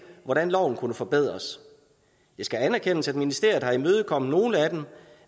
hvordan loven kunne forbedres det skal anerkendes at ministeriet har imødekommet nogle af dem